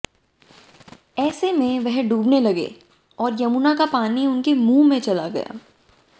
ऐसे में वह डूबने लगे और यमुना का पानी उनके मुहं में चला गया